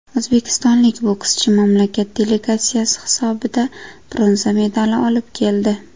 O‘zbekistonlik bokschi mamlakat delegatsiyasi hisobida bronza medali olib keldi.